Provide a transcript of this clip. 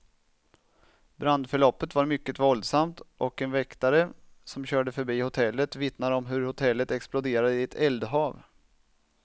Brandförloppet var mycket våldsamt, och en väktare som körde förbi hotellet vittnar om hur hotellet exploderade i ett eldhav.